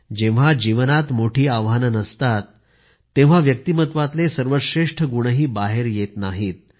जेव्हा जीवनात मोठी आव्हानं नसतात तेव्हा व्यक्तिमत्वातले सर्वश्रेष्ठ गुणही बाहेर येत नाहित